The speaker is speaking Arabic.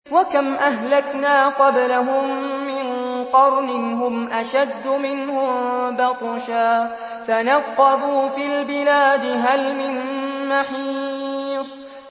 وَكَمْ أَهْلَكْنَا قَبْلَهُم مِّن قَرْنٍ هُمْ أَشَدُّ مِنْهُم بَطْشًا فَنَقَّبُوا فِي الْبِلَادِ هَلْ مِن مَّحِيصٍ